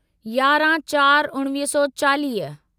यारहं चार उणिवीह सौ चालीह